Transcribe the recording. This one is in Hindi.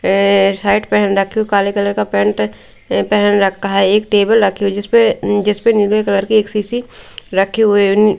अ शर्ट पहन रखी काले कलर का पेंट पहन रखा है एक टेबल रखी हुई जिस पे जिस पे नीले कलर की एक सीसी रखी हुई है।